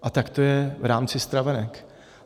A tak to je v rámci stravenek.